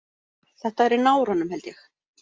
Þetta er í náranum held ég.